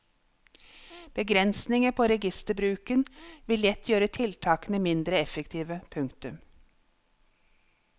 Begrensninger på registerbruken vil lett gjøre tiltakene mindre effektive. punktum